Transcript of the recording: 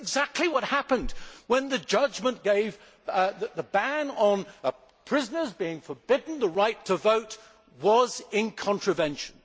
That is exactly what happened when the judgment was given that the ban on prisoners being forbidden the right to vote was in contravention.